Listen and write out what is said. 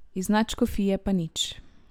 Iz nadškofije pa nič.